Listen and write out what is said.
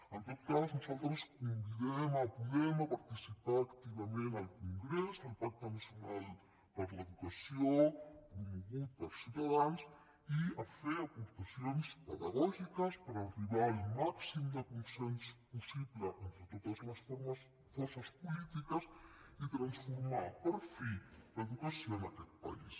en tot cas nosaltres convidem podem a participar activament al congrés al pacte nacional per l’educació promogut per ciutadans i a fer aportacions pedagògiques per arribar al màxim de consens possible entre totes les forces polítiques i transformar per fi l’educació en aquest país